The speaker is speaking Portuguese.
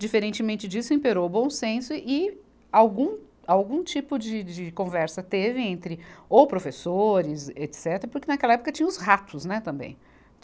Diferentemente disso, imperou o bom senso e algum, algum tipo de, de conversa teve entre ou professores, etecetera, porque naquela época tinha os ratos, né também.